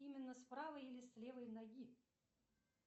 именно с правой или с левой ноги